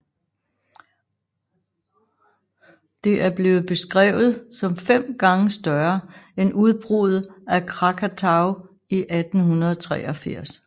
Det er blevet beskrevet som fem gange større end udbruddet af Krakatau i 1883